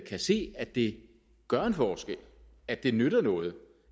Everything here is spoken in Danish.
kan se at det gør en forskel at det nytter noget